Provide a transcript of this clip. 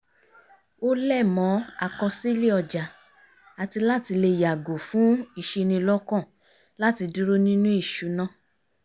ó lẹ̀ mọ́ àkọsílẹ̀ ọjà àti láti lè yàgò fún ìṣinilọ́kàn láti dúró nínú ìṣúná